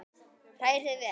Hrærið vel.